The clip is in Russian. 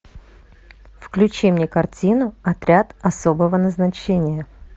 включи мне картину отряд особого назначения